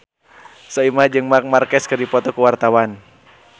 Soimah jeung Marc Marquez keur dipoto ku wartawan